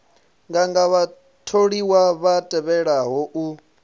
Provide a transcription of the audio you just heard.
nganga vhatholiwa vha tevhelaho u